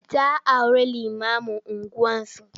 Ta auri limamun unguwarsu.